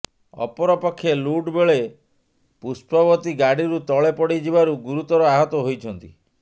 ଅପରପକ୍ଷେ ଲୁଟ୍ ବେଳେ ପୁଷ୍ପବତୀ ଗାଡ଼ିରୁ ତଳେ ପଡ଼ି ଯିବାରୁ ଗୁରୁତର ଆହତ ହୋଇଛନ୍ତି